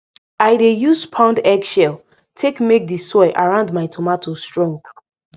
i dey use pound egg shell take make the soil around my tomato strong